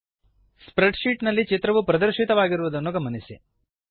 spread sheet ನಲ್ಲಿ ಚಿತ್ರವು ಪ್ರದರ್ಶಿತವಾಗಿರುವುದನ್ನು ಗಮನಿಸಿ